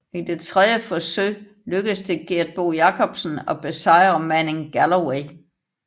I det tredje forsøg lykkedes det Gert Bo Jacobsen at besejre Manning Galloway